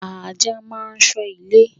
Ajá máa ń ṣọ́ ilé.